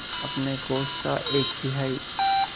अपने कोष का एक तिहाई